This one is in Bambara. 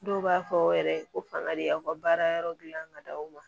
Dɔw b'a fɔ yɛrɛ ko fanga de y'aw ka baara yɔrɔ dilan ka d'aw ma